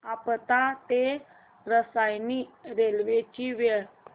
आपटा ते रसायनी रेल्वे ची वेळ